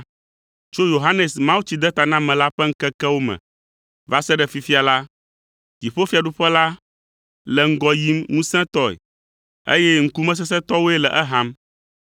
Tso Yohanes Mawutsidetanamela ƒe ŋkekewo me va se ɖe fifia la, dziƒofiaɖuƒe la le ŋgɔ yim ŋusẽtɔe, eye ŋkumesesẽtɔwoe le eham.